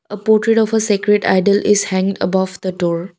a portrait of a sacred idol is hanged above the door.